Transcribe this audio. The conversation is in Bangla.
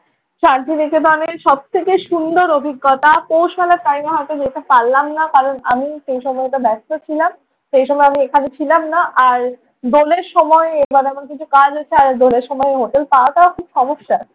শান্তি নিকেতনের সব থেকে সুন্দর অভিজ্ঞতা। কৌশলের টাম এ হয়ত যেতে পারলাম না কারণ আমি সেই সময় একটু ব্যস্ত ছিলাম। সেই সময় আমি এখানে ছিলাম না। আর দোলের সময় এবার আমার কিছু কাজ আছে। আর দোলের সময় হোটেল পাওয়াটাও খুব সমস্যা।